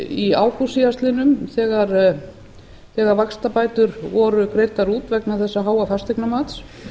í ágúst síðastliðinn þegar vaxtabætur voru greiddar út vegna þessa háa fasteignamats